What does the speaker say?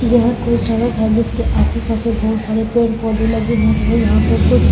यहाँ कोई सड़क है जिसके आस-पास से बहुत सारे पेड़-पौधे लगे होते हैं यहां पर कुछ--